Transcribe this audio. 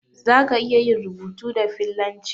Zaka iya yin rubutu da fillanci?